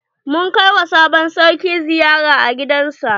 Mun kai wa sabon sarki ziyara a gidan sa.